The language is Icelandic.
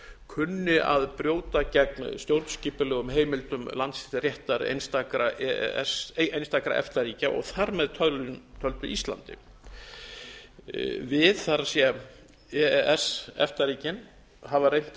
kunni að brjóta gegn stjórnskipulegum heimildum landsréttar einstakra efta ríkja og þar með töldu íslandi við það er e e s efta ríkin hafa reynt að